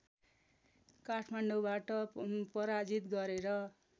काठमाडौँबाट पराजित गरेर